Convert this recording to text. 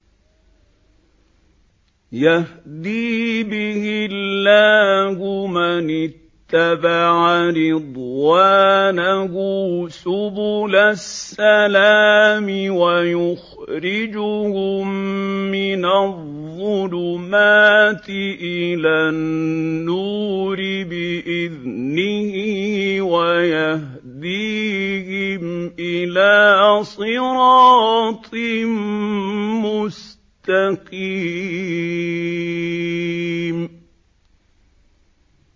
يَهْدِي بِهِ اللَّهُ مَنِ اتَّبَعَ رِضْوَانَهُ سُبُلَ السَّلَامِ وَيُخْرِجُهُم مِّنَ الظُّلُمَاتِ إِلَى النُّورِ بِإِذْنِهِ وَيَهْدِيهِمْ إِلَىٰ صِرَاطٍ مُّسْتَقِيمٍ